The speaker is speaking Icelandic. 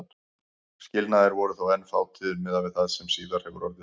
Skilnaðir voru þó enn fátíðir miðað við það sem síðar hefur orðið.